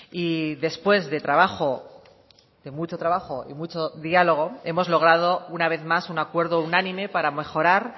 y después de trabajo de mucho trabajo y mucho diálogo hemos logrado una vez más un acuerdo unánime para mejorar